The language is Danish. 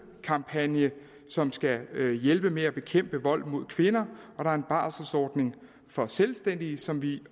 kampagne som skal hjælpe med at bekæmpe vold mod kvinder og der er en barselsordning for selvstændige som vi